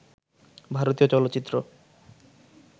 ভারতীয় চলচ্চিত্র